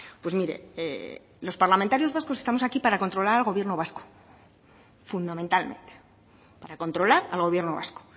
pues mire los parlamentarios vascos estamos aquí para controlar al gobierno vasco fundamentalmente para controlar al gobierno vasco